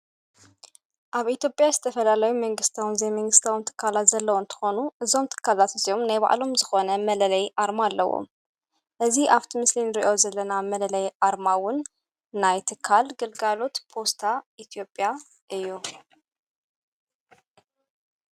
ኣብ ኢቴጴያ ዝተፈላላዊ ምንግሥታውን ዘይምንግሥተውም ተካላት ዘለዉን ተኾኑ እዞም ቲካላት እዜዮም ናይ ባዕሎም ዝኾነ መለለይ ኣርማ ኣለዎ እዝ ኣብቲ ምስልን ርእዮ ዘለና መለለይ ኣርማውን ናይ ትካል ግልጋሉት ፖስታ ኢትኦጵያ እዩ።